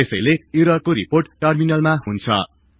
त्यसैले ईरर्को रिपोर्ट टर्मिनलमा हुन्छ